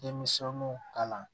Denmisɛnnu kalan